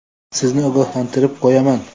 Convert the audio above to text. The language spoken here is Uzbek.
Sizni ogohlantirib qo‘yaman.